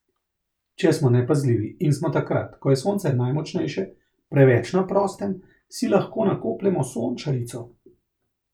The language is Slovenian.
Če smo nepazljivi in smo takrat, ko je sonce najmočnejše, preveč na prostem, si lahko nakopljemo sončarico.